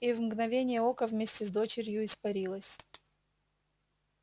и в мгновение ока вместе с дочерью испарилась